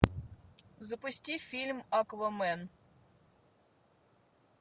запусти фильм аквамен